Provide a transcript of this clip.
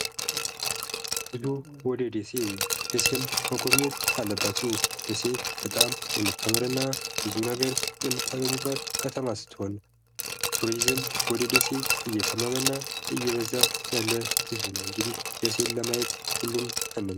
ወሎ ደሴ:- ደሴን መጎብኘት አለባችሁ። ደሴ በጣም የምታምር እና ብዙ ነገር የምታገኙባት ከተማ ስትሆን ቱሪዝም ወደ ደሴ እየተመመና እየበዛ ያለ ህዝብ ነዉ እንግዲህ ደሴን ለማየት ሁሉም ይነሳ።